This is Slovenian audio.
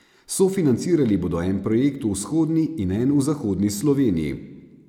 Sofinancirali bodo en projekt v vzhodni in en v zahodni Sloveniji.